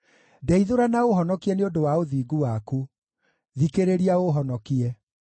Ndeithũra na ũũhonokie nĩ ũndũ wa ũthingu waku; thikĩrĩria ũũhonokie.